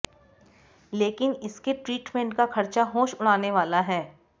लेकिन इसके ट्रीटमेंट का खर्चा होश उड़ाने वाला है